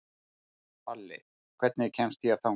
Palli, hvernig kemst ég þangað?